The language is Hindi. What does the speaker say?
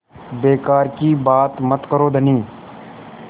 बेकार की बात मत करो धनी